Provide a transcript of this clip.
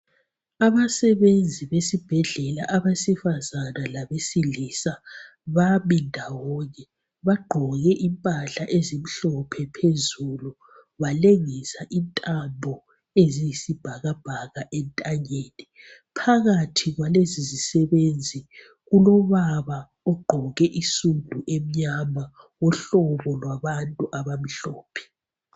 Abasebenzi besibhedlela, abesifazane labesilisa, bami ndawonye. Bagqoke impahla ezimhlophe phezulu, balengisa intambo eziyisibhakabhaka entanyeni. Phakathi kwalezi zisebenzi, kulobaba ogqoke isudu emnyama.